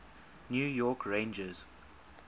new york rangers